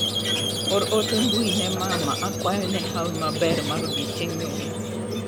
Or ote mbui ne mama akwayo ne hawi maber mar odiochieng' nyuol.